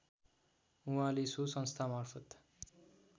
उहाँले सो संस्थामार्फत